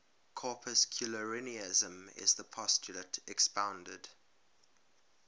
corpuscularianism is the postulate expounded